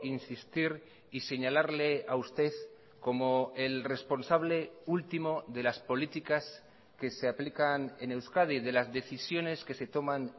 insistir y señalarle a usted como el responsable último de las políticas que se aplican en euskadi de las decisiones que se toman